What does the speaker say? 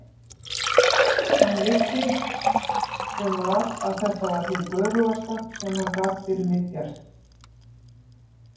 Hann vissi sem var að þetta var hið göfugasta sem hann gat fyrir mig gert.